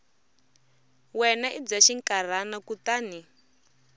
wena i bya xinkarhana kutani